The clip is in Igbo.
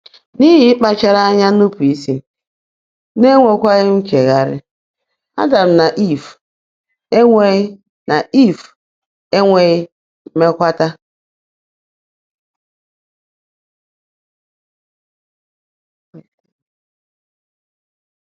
N’ihi ịkpachara anya nupụ isi, n'enwekwaghị nchegharị, Adam na eve enweghị na eve enweghị mmekwata.